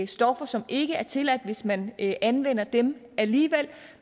stoffer som ikke er tilladt hvis man anvender dem alligevel